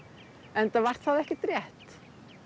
enda var það ekkert rétt